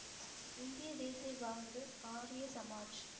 இந்திய தேசிய காங்கிரஸ், ஆரிய சமாஜ்